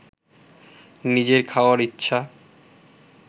নিজের খাওয়ার ইচ্ছা